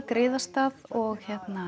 griðarstað og